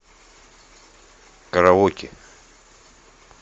караоке